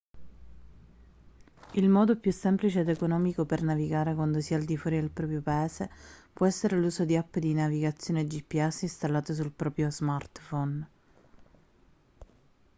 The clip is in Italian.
il modo più semplice ed economico per navigare quando si è al di fuori del proprio paese può essere l'uso di app di navigazione gps installate sul proprio smartphone